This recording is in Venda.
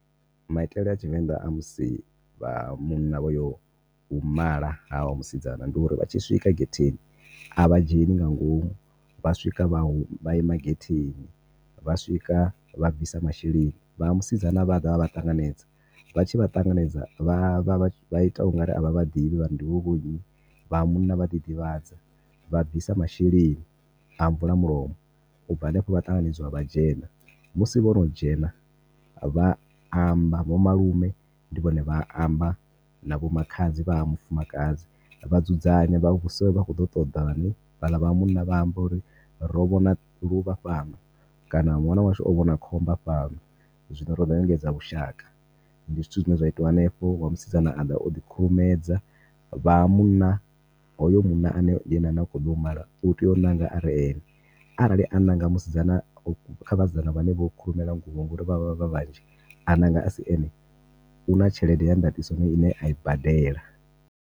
Maitele a tshivenḓa a musi vha ha munna vhoyo u mala ha wa musidzana ndi uri vhatshi swika getheni avha dzheni nga ngomu vha swika a huma vha ima getheni. Vha swika vha bvisa masheleni vha ha musidzana vha vha ṱanganedza vhatshi vha ṱanganedza vha vha ita ungari avha vha ḓivhi vhari ndi vheiwe vho nnyi vha ha munna vha ḓi ḓivhadza vha bvisa masheleni a mvula mulomo ubva hanefho vha ṱanganedzwa vha dzhena. Musi vhono dzhena vha amba vho malume ndi vhone vhane vha amba na vho makhadzi vha ha mufumakadzi vha dzudzanya vhavha vhudzisa uri vha khoḓo u ṱoḓani vhaḽa vhaha munna vha amba uri ro vhona luvha fhano, kana ṅwana washu o vhona khomba fhano zwino roḓo u engedza vhushaka ndi zwithu zwine zwa itwa henefho. Wa musidzana aḓa oḓi khurumedza vha ha munna hoyo munna ane ndi ane anokho ḓa u mala u tea u ṋanga are ene arali a ṋanga musidzana kha vhasidzana vhane vho khurumela nguvho ngori vhavha vha vhanzhi a ṋanga asi ene huna tshelede ya ndaṱiso ine a i badela.